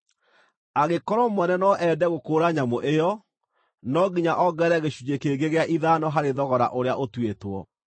Angĩkorwo mwene no ende gũkũũra nyamũ ĩyo, no nginya ongerere gĩcunjĩ kĩngĩ gĩa ithano harĩ thogora ũrĩa ũtuĩtwo.